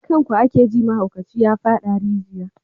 Kan ku ake ji mahaukaci ya fada rijiya.